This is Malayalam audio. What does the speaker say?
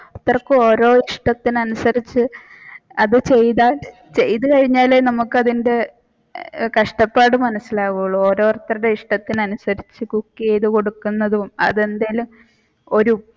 ഓരോരുത്തർക്കും ഓരോ ഇഷ്ടത്തിന് അനുസരിച്ചു അത്അതുചെയ്തു കഴിഞ്ഞാലേ നമ്മുക്കത്തിന്റെ കഷ്ടപ്പാട് മനസിലാവൂള് ഓരോരുത്തരുടെ ഇഷ്ടത്തിന് അനുസരിച്ചു cook ചെയ്തു കൊടുക്കുന്നതും അത് എന്തേലും ഒരു